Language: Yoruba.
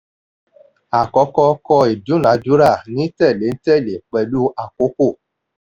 àkọ́kọ́: kọ ìdúnadúrà ní tẹ̀léǹtẹ̀lẹ́ pẹ̀lú àkókò.